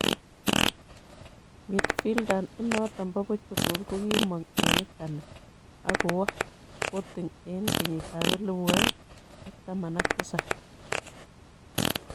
Midfielder inoto bo Portugal ko kimong' eng Italy akowo Sporting eng kenyitab elebu oeng ak taman ak tisab.